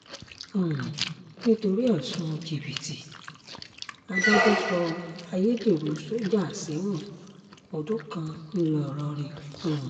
um nítorí ẹ̀sùn jìbìtì adájọ́ sọ ayédèrú sójà sẹ́wọ̀n ọdún kan ńlọrọrìn um